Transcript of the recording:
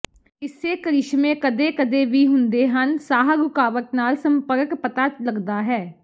ਇਸੇ ਕਰਿਸ਼ਮੇ ਕਦੇ ਕਦੇ ਵੀ ਹੁੰਦੇ ਹਨ ਸਾਹ ਰੁਕਾਵਟ ਨਾਲ ਸੰਪਰਕ ਪਤਾ ਲੱਗਦਾ ਹੈ